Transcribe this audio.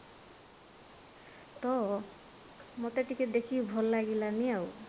ତ ମତେ ଟିକେ ଦେଖିକି ଭଲ ଲାଗିଲାନି ଆଉ